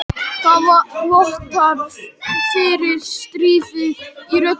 Það vottar fyrir stríðni í röddinni.